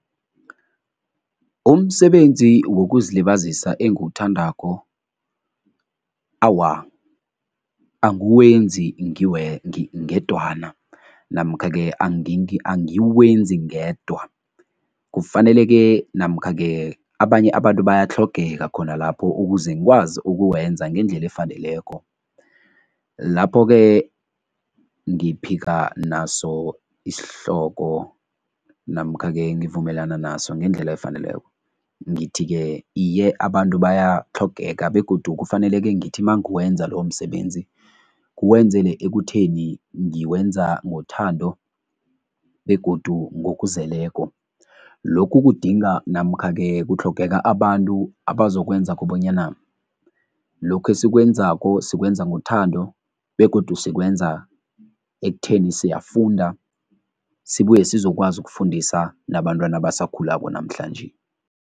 Umsebenzi wokuzilibazisa engiwuthandako, awa, angiwenzi ngedwana namkha-ke angiwezi ngedwa. Kufaneleke namkha-ke abanye abantu bayatlhogeka khona lapho ukuze ngikwazi ukuwenza ngendlela efaneleko. Lapho-ke ngiphika naso isihloko namkha-ke ngivumelana naso ngendlela efaneleko. Ngithi-ke iye, abantu bayatlhogeka begodu kufaneleke ngithi mangiwenza loyo msebenzi nguwenzele ekutheni ngiwenza ngothanda begodu ngokuzeleko. Lokhu kudinga namkha-ke kutlhogeka abantu abazokwenzako bonyana lokhu esikwenzako sikwenza ngothando begodu sikwenza ekutheni siyafunda sibuye sizokwazi ukufundisa nabantwana abasakhulako namhlanje.